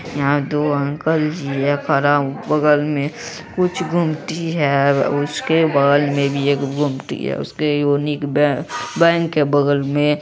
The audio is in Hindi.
यहाँ दो अंकल जी खडा है। बगल मैं कुछ गुमटी है। उसके बगल मैं भी एक गुमटी और एक यूनिक बै-बैंक है बगल मैं --